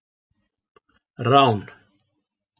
Rán